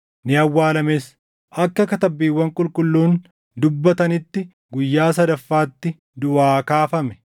ni awwaalames; akka Katabbiiwwan Qulqulluun dubbatanitti guyyaa sadaffaatti duʼaa kaafame.